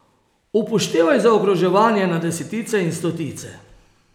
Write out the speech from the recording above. Upoštevaj zaokroževanje na desetice in stotice.